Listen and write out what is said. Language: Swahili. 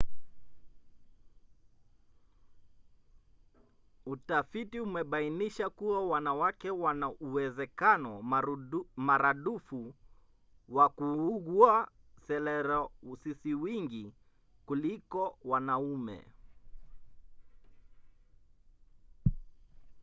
utafiti umebainisha kuwa wanawake wana uwezekano maradufu wa kuugua selerosisiwingi kuliko wanaume